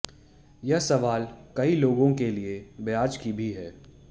यह सवाल कई लोगों के लिए ब्याज की भी है